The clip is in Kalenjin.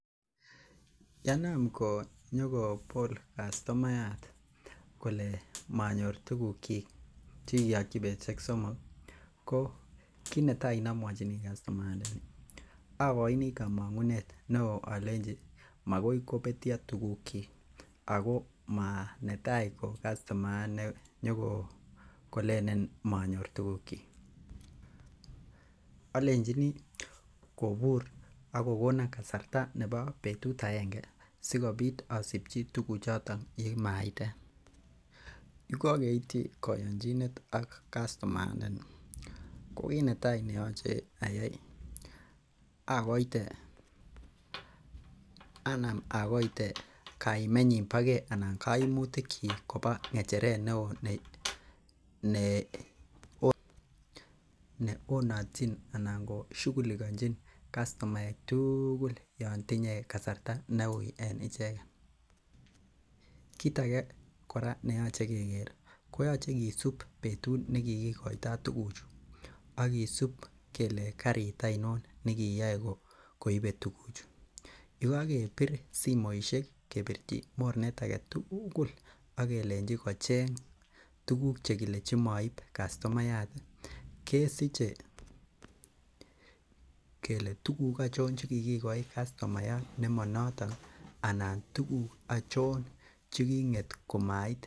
Yenam konyokobol customayat kole manyor tuguk kyik chekikiyokyi betusiek somok ko kit netai nomwochinii customayat ndani akoini komong'unet neoo olenji makoi kobetyo tuguk kyik ako manetaa ko customayat nenyokolenen monyor tuguk kyik, olenjini kobur ak kokonon kasarta nebo betut agenge sikobit asipchi tuguk choton Yekokeityi koyonjinet ak customayatndani ko kit netaa neyoche ayai akoite anam akoite kaimenyin bo gee ana koimutik kyik koba ng'echeret neoo ne neonotyin anan ko shugulikonjin castomaek tugul yan tinye kasarta neuui en icheket. Kit age kora neyoche keker koyoche kisib betut nekikikoitoo tuguchu ak kisib kele karit oinon nekiyoe koibe tuguchu yekokebir simoisiek kebirchi mornet aketugul ak kelenji kocheng tuguk chekile chemoib castomayat ih kesiche kele tuguk achon chekikikoi castomayat nemonoton anan tuguk achon cheking'et komait